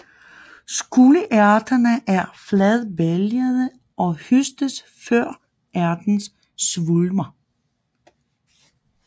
Sukkerærterne er fladbælgede og høstes før ærterne svulmer